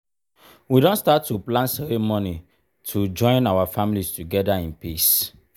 we don start to plan ceremony to join our families together in peace.